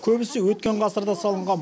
көбісі өткен ғасырда салынған